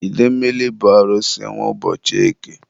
idemmili bụ Arusi nwe ụbọchị eke.